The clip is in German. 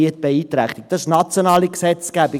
Das ist nationale Gesetzgebung;